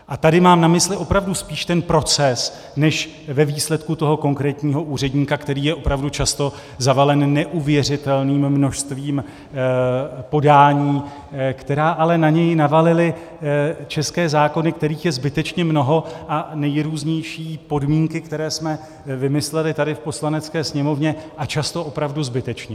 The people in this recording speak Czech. A tady mám na mysli opravdu spíš ten proces než ve výsledku toho konkrétního úředníka, který je opravdu často zavalen neuvěřitelným množstvím podání, která ale na něj navalily české zákony, kterých je zbytečně mnoho, a nejrůznější podmínky, které jsme vymysleli tady v Poslanecké sněmovně, a často opravdu zbytečně.